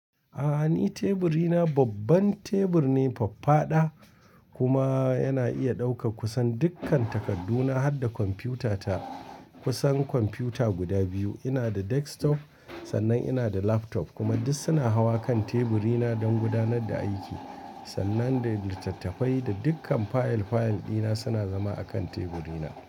A'a, ni teburi na babban tebur ne faffaɗa kuma yana iya ɗaukar kusan dukkan takaddu na har da kwamfiyuta ta. Kusan kwamfiyuta guda biyu, ina da desktop sannan ina da laptop kuma duk suna hawa kan teburi na don gudanar da aiki. Sannan da littattafai da dukkan fayil fayil dina suna zama a kan teburi na.